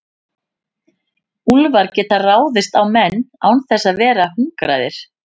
úlfar geta ráðist á menn án þess að vera hungraðir